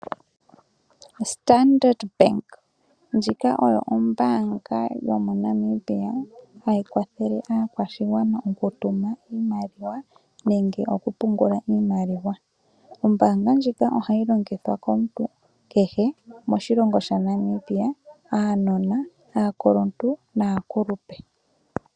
Standard bank ndjika oyo ombaanga yomoNamibia hayi kwathele aakwashigwana okutuma iimaliwa nenge okupungula iimaliwa. Ombaanga ndjika ohayi longithwa komuntu kehe moshilongo shaNamibia aanona, aakuluntu naakulupe.